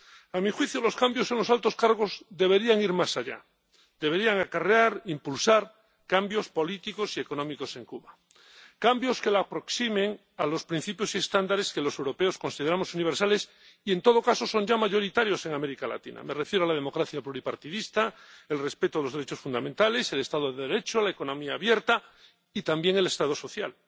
A mi juicio, los cambios en los altos cargos deberían ir más allá deberían acarrear, impulsar cambios políticos y económicos en Cuba, cambios que la aproximen a los principios y estándares que los europeos consideramos universales y que, en todo caso, son ya mayoritarios en América Latina —me refiero a la democracia pluripartidista, el respeto de los derechos fundamentales, el Estado de Derecho, la economía abierta y también el Estado social—.